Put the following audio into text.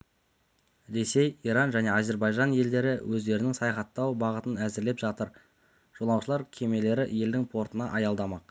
ресей иран және әзербайжан елдері өздерінің саяхаттау бағытын әзірлеп жатыр жолаушылар кемелері елдің портына аялдамақ